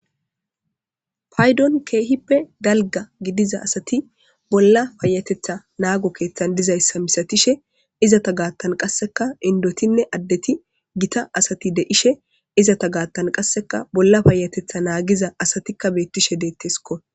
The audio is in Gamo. Paydon keehippe dalga gidiza asati bolla paayatetha naago keeththan dizayssa misatishe izata gaattan qasseka indotinne addeti gita asati de'she izata gaattan qasseka bolla paayatetha naagiza asatikka beettishe deettesko.